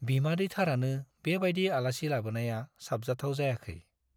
बिमादैथारानो बेबायदि आलासि लाबोनाया साबजाथाव जायाखै।